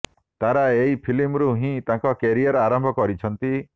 ତାରା ଏହି ଫିଲ୍ମରୁ ହିଁ ତାଙ୍କ କ୍ୟାରିୟର୍ ଆରମ୍ଭ କରିଛନ୍ତି